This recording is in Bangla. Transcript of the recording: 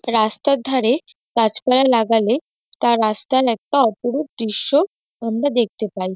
রাস্তার ধারে গাছপালা লাগালে তা রাস্তার একটা অপরূপ দৃশ্য আমরা দেখতে পাই।